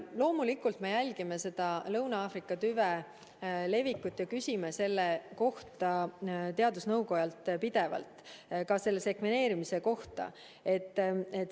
Loomulikult me jälgime Lõuna-Aafrika tüve levikut ja küsime selle kohta teadusnõukojalt pidevalt, ka sekveneerimise kohta.